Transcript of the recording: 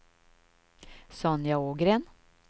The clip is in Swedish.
Sonja Ågren